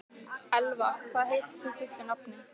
Elfa, hvað heitir þú fullu nafni?